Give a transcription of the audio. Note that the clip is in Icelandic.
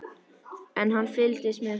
En hann fylgist með henni.